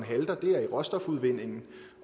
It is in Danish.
halter er i råstofudvindingen